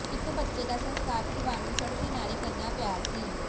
ਇਕ ਬੱਚੇ ਦਾ ਸਸਕਾਰ ਪਰਿਵਾਰ ਨੂੰ ਸੜਕ ਕਿਨਾਰੇ ਕਰਨਾ ਪਿਆ ਸੀ